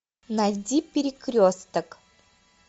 найди перекресток